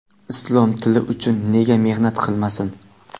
islom tili uchun nega mehnat qilmasin?.